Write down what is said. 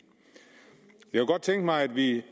jeg kunne godt tænke mig at vi